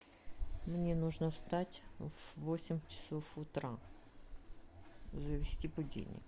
мне нужно встать в восемь часов утра завести будильник